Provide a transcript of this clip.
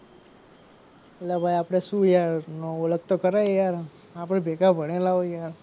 અલ્યા ભાઈ આપડે શું યાર ઓળખ તો ખરા યાર આપડે ભેગા ભણેલા હોય યાર.